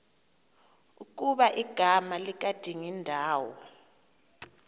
ukuba igama likadingindawo